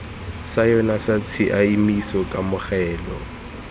sa yona sa tshiaimiso kamogelo